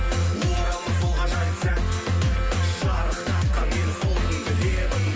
оралмас сол ғажайып сәт шарықтатқан мені сол күнгі лебің